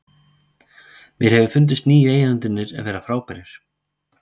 Mér hefur fundist nýju eigendurnir vera frábærir.